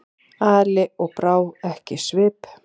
Ali og brá ekki svip.